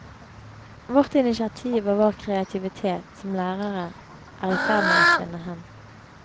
Vårt initiativ og vår kreativitet som lærere er i ferd med å svinne hen.